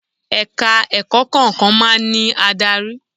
Ẹ̀ka ẹ̀kọ́ kọ̀ọ̀kan máa ń ní adarí.